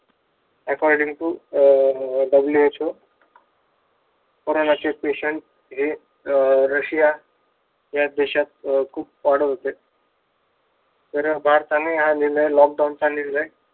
According to um WHO कोरोनाचे patient हे rasia या देशात खूप वाढत होते. तर भारताने हा निर्णय lockdown चा निर्णय